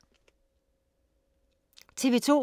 TV 2